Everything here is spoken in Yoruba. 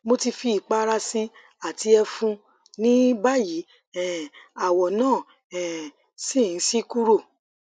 mo ti fi ipara si i ati efun nibayi um awo na um si n si kuro